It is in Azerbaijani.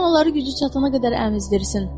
Qoy anaları gücü çatana qədər əmizdirsin.